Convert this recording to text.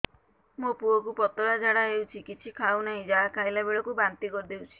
ମୋ ପୁଅ କୁ ପତଳା ଝାଡ଼ା ହେଉଛି କିଛି ଖାଉ ନାହିଁ ଯାହା ଖାଇଲାବେଳକୁ ବାନ୍ତି କରି ଦେଉଛି